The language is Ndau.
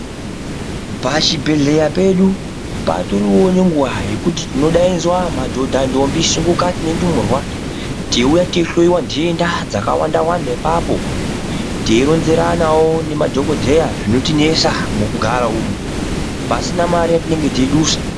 Pa chibhedhleya pedu patoriwo ne nguva yekuti tino daidzwa madhodha ndombi shungukati ne ndumurwa teiuya tei hloyiwa dhenda dzaka wanda wanda ipapo tei ronzeranawo ne madhokodheya zvinoti nesa muku gara umu pasina mari ya tinenge tei dusa.